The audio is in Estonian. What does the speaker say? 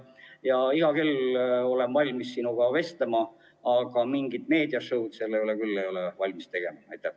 Olen iga kell valmis sinuga vestlema, aga mingit meedia-show'd ma küll ei ole valmis kaasa tegema.